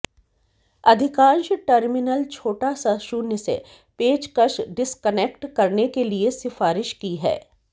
अधिकांश टर्मिनल छोटा सा शून्य से पेचकश डिस्कनेक्ट करने के लिए सिफारिश की है